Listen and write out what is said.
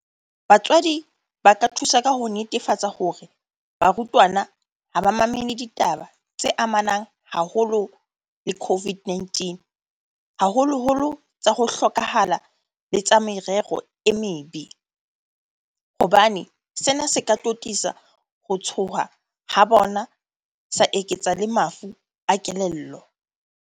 Batswadi ba ka thusa ka ho netefatsa hore barutwana ha ba mamele ditaba tse amanang haholo le COVID-19, haholoholo tsa ho hloka hala le tsa merero e mebe, hobane sena se ka totisa ho tshoha ha bona sa eketsa le mafu a kelello.